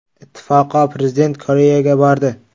Ittifoqo Prezident Koreyaga bordi.